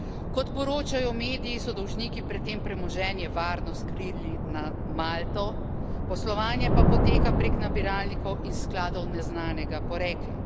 Kot poročajo mediji, so dolžniki pred tem premoženje varno skrili na Malto, poslovanje pa poteka prek nabiralnikov in skladov neznanega porekla.